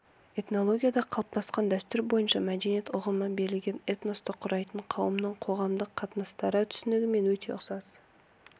этнологияда қалыптасқан дәстүр бойынша мәдениет ұғымы берілген этносты құрайтын қауымның коғамдық қатынастары түсінігімен өте ұқсас